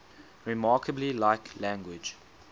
remarkably like language